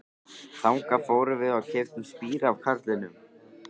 Þangað fórum við og keyptum spíra af karlinum.